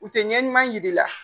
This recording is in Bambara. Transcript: U tɛ ɲɛ ɲuman jiri la.